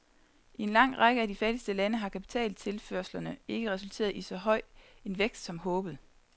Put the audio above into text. I en lang række af de fattigste lande har kapitaltilførslerne ikke resulteret i så høj en vækst som håbet.